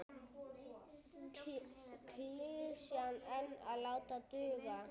Klisjan ein var látin duga.